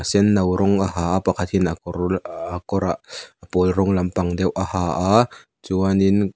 sen no rawng a ha a pakhat in a kawr a a kawr a pawl rawng lampang deuh a ha a chuan in--